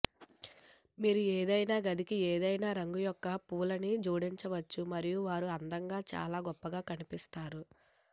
మీరు ఏదైనా గదికి ఏదైనా రంగు యొక్క పువ్వులని జోడించవచ్చు మరియు వారు అందంగా చాలా గొప్పగా కనిపిస్తారు